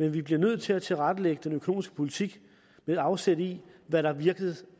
men vi bliver nødt til at tilrettelægge den økonomiske politik med afsæt i hvad der